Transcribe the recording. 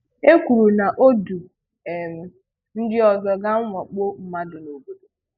E kwùrù na ọ̀ dú um ndị ọzọ ga mwàkpò mmadụ na obodo.